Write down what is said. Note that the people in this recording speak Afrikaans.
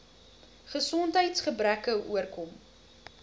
gesondheids gebreke oorkom